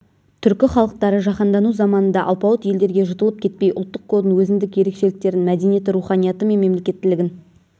түркі халықтары жаһандану заманында алпауыт елдерге жұтылып кетпей ұлттық кодын өзіндік ерекшеліктерін мәдениеті руханияты мен мемлекеттілігін